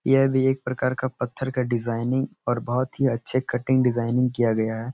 ऐ भी एक प्रकार का पत्थर का डिज़ाइनिंग और बहुत ही अच्छे कटिंग डिज़ाइनिंग किया गया है।